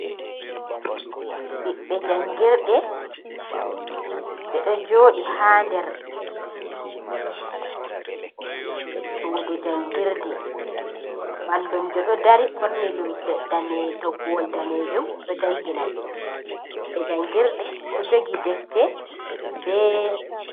biɓbe jangirde ɓe ɗo joorɗi haa nder suudu jangirde mallumjo ɗo dari borni limse toggowol danejum o ɗo jangina ɓe ɓiɓbe jangirde ɗo jogi defte bee